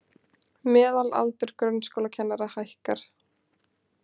Meðalaldur grunnskólakennara hækkar